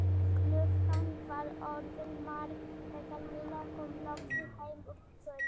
Klukkan var orðin margt þegar Lilla kom loksins heim um kvöldið.